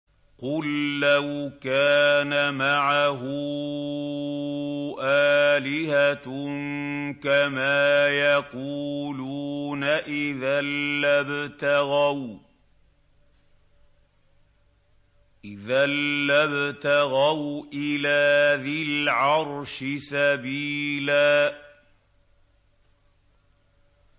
قُل لَّوْ كَانَ مَعَهُ آلِهَةٌ كَمَا يَقُولُونَ إِذًا لَّابْتَغَوْا إِلَىٰ ذِي الْعَرْشِ سَبِيلًا